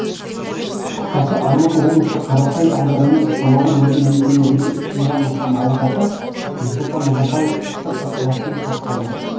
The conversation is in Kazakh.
қысқасы алматы облысы қарасай ауданының шамалған елді мекеніндегі үш мыңнан астам ауылдасы нұсұлтан назарбаевты ыстық ықыласпен қарсы алды